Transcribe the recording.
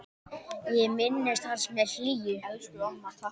Ég minnist hans með hlýju.